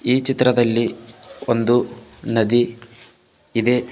ಈ ಚಿತ್ರದಲ್ಲಿ ಒಂದು ನದಿ ಇದೆ.